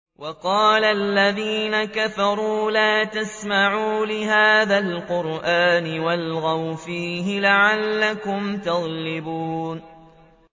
وَقَالَ الَّذِينَ كَفَرُوا لَا تَسْمَعُوا لِهَٰذَا الْقُرْآنِ وَالْغَوْا فِيهِ لَعَلَّكُمْ تَغْلِبُونَ